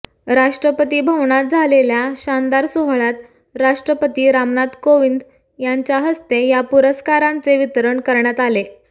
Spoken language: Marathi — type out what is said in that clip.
राष्ट्रपती भवनात झालेल्या शानदार सोहळ्यात राष्ट्रपती रामनाथ कोविंद यांच्या हस्ते या पुरस्कारांचे वितरण करण्यात आले